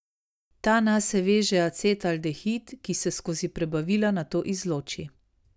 Ta nase veže acetaldehid, ki se skozi prebavila nato izloči.